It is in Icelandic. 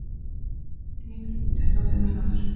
Ólöf, heyrðu í mér eftir tuttugu og fimm mínútur.